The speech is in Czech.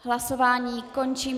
Hlasování končím.